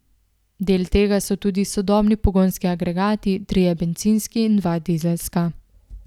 Del tega so tudi sodobni pogonski agregati, trije bencinski in dva dizelska.